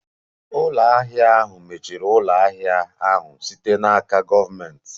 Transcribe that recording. Ụlọ ahịa ahụ mechiri ụlọ ahịa ahụ site n'aka gọọmentị.